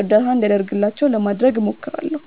እርዳታ እንዲደረግላቸው ለማድረግ እሞክራለሁ።